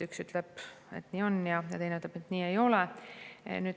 Üks ütleb, et nii on, ja teine ütleb, et nii ei ole.